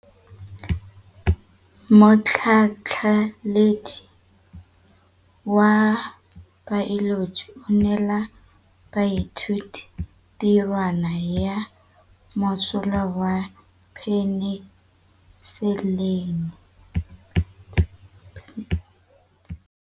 Motlhatlhaledi wa baeloji o neela baithuti tirwana ya mosola wa peniselene.